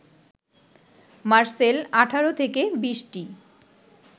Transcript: মারসেল ১৮ থেকে ২০টি